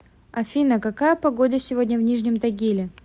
афина какая погода сегодня в нижнем тагиле